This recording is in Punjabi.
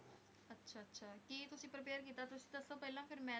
ਕੀ ਤੁਸੀਂ prepare ਕੀਤਾ ਤੁਸੀਂ ਦੱਸੋ ਪਹਿਲਾਂ ਫੇਰ ਮੈਂ